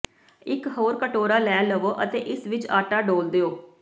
ਇਕ ਹੋਰ ਕਟੋਰਾ ਲੈ ਲਵੋ ਅਤੇ ਇਸ ਵਿੱਚ ਆਟਾ ਡੋਲ੍ਹ ਦਿਓ